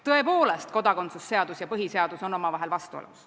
Tõepoolest, kodakondsuse seadus ja põhiseadus on omavahel vastuolus.